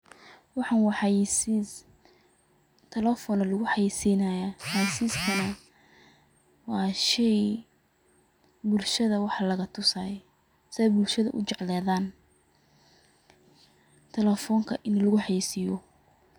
Waxan wa xayeysis, talephon aya lagucayeysinaya, midakale wa shey bulshada wax lagatusay si ay bulshada ujecladhan, talephonka in lagu xayeysiyo.